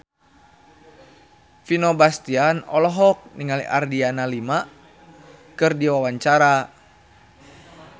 Vino Bastian olohok ningali Adriana Lima keur diwawancara